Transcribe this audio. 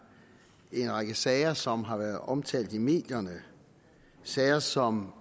en række sager som har været omtalt i medierne sager som